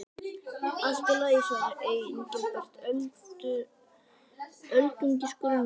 Allt í lagi svaraði Engilbert, öldungis grunlaus.